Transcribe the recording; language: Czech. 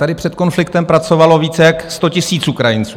Tady před konfliktem pracovalo více jak 100 000 Ukrajinců.